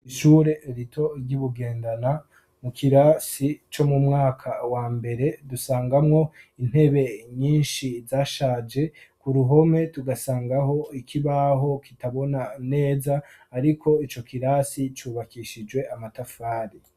Ishure rito ry'Ibugendana, mu kirasi co mu mwaka wa mbere dusangamwo intebe nyinshi zashaje, ku ruhome tugasangaho ikibaho kitabona neza ariko ico kirasi cubakishijwe amatafari.